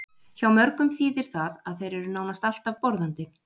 Hjá mörgum þýðir það að þeir eru nánast alltaf borðandi.